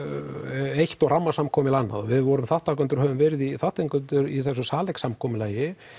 eitt og rammasamkomulag annað við vorum þátttakendur og höfum verið þátttakendur í þessu samkomulagi